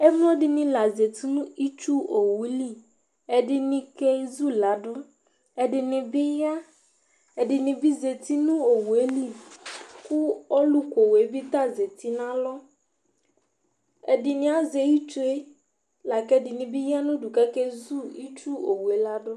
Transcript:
Emlodinɩ la zatɩ nu ɩtsʊowʊlɩ Ɛdɩnɩ kezʊladʊ, ɛdinɩ bɩ ya, , ɛdinibi zatɩ nʊ owʊeli, kʊ ɔlʊkowue ta zatɩ nalɔ Ɛdini azɛ itsue akɛdinibi akezʊ itsuowue ladʊ